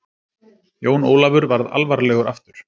Jón Ólafur varð alvarlegur aftur.